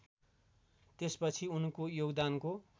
त्यसपछि उनको योगदानको